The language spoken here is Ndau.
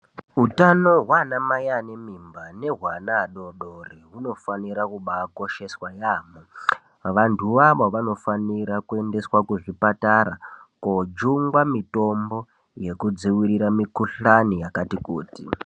Hutano hwana Mai ane mimba nehwe hwana hudodori hunofanira kubakosheswa neantu ,antu woiwawo vanofanira kuendeswa kuzvipatara kojungwa mitombo yekudzivirira mikuhlani yakati kuti.